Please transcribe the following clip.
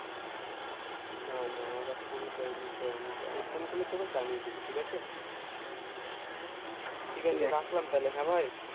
না না ওরা phone করেনি কেও আমাকে আমি phone করলে তোকে জানিয়ে দিবো ঠিক আছে ঠিক আছে রাখলাম তাহলে হ্যাঁ ভাই